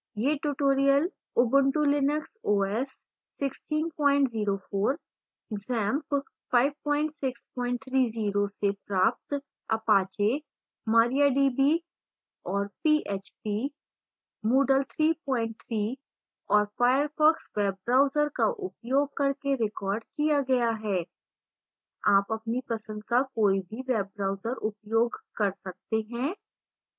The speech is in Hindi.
यह tutorial